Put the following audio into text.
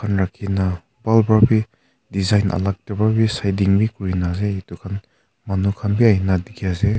rakhina bhal para bhi design alag table etu khan manu khan bhi ahi na dikhi ase.